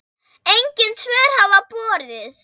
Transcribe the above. Engin svör hafa borist.